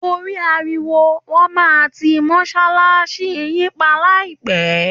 Torí ariwo, wọ́n máa ti mọ̀ṣàlkàsí yìí pa láìpẹ́